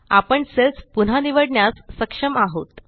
आपण सेल्स पुन्हा निवडण्यास सक्षम आहोत